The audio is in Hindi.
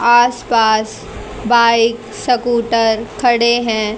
आस पास बाइक स्कूटर खड़े हैं।